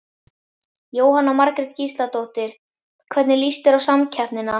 Jóhanna Margrét Gísladóttir: Hvernig líst þér á samkeppnina?